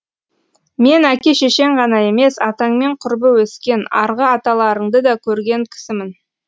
мен әке шешең ғана емес атаңмен құрбы өскен арғы аталарыңды да көрген кісімін